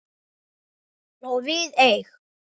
Og við eig